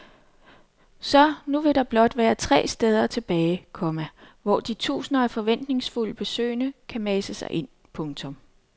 Så nu vil der blot være tre steder tilbage, komma hvor de tusinder af forventningsfulde besøgende kan mase sig ind. punktum